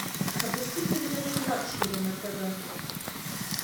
запусти передачу лакшери на тв